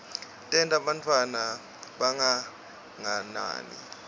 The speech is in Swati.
tenta bantfwana bangagangi